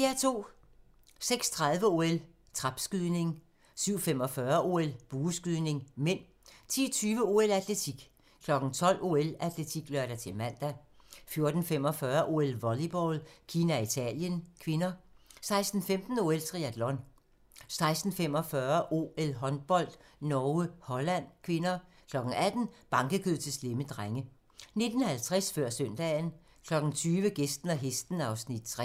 06:30: OL: Trapskydning 07:45: OL: Bueskydning (m) 10:20: OL: Atletik 12:00: OL: Atletik (lør-man) 14:45: OL: Volleyball - Kina-Italien (k) 16:15: OL: Triatlon 16:45: OL: Håndbold - Norge-Holland (k) 18:00: Bankekød til slemme drenge 19:50: Før søndagen 20:00: Gæsten og hesten (Afs. 3)